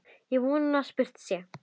Og von að spurt sé.